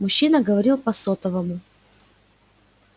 мужчина говорил по сотовому